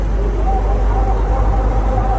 Əşhədü ənnə Muhammədən Rəsulullah.